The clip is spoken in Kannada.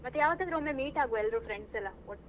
ಮತ್ತೆ ಯಾವತ್ತಾದ್ರೂ ಒಮ್ಮೆ meet ಆಗುವ ಎಲ್ರು friends ಎಲ್ಲ.